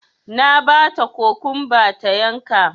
Na bata kokwamba ta yanka